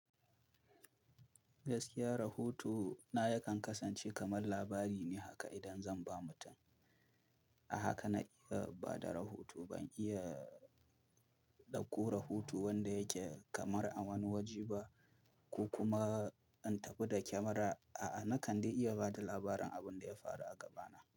Gaskiya rahoto na yakan kasance kamar labari ne haka idan zan ba mutum. A haka na iya bada rahoto. Ban iya ɗauko rahoto wanda yake kamar a wani waje ba, ko kuma in tafi da kyamara. A'a, na kande iya bada labarin abin da ya faru a gabana.